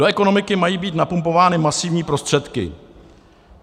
Do ekonomiky mají být napumpovány masivní prostředky.